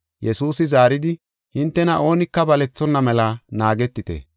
Yesuusi zaaridi, “Hintena oonika balethonna mela naagetite!